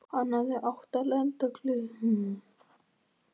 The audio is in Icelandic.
Hann hafði átt að lenda klukkan tvö á